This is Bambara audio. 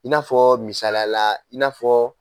I n'afɔ misaliya la i n'a fɔ